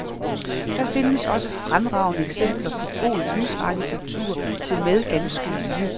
Der findes også fremragende eksempler på god lysarkitektur, tilmed ganske nye.